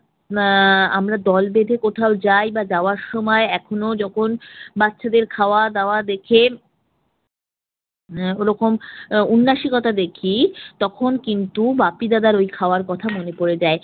আহ আমরা দল বেধে কোথাও যাই বা যাওয়ার সময় এখনো যখন বাচ্চাদের খাওয়া-দাওয়া দেখে ওরকম উন্নাসিকতা দেখি তখন কিন্ত বাপ্পী দাদার ওই খাওয়ার কথা মনে পড়ে যায়।